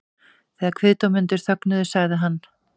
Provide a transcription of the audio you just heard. Þegar kviðdómendur þögnuðu sagði hann